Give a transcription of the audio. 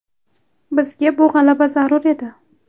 Bizga bu g‘alaba zarur edi”.